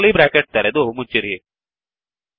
curly bracket ತೆರೆದು ಮುಚ್ಚಿರಿ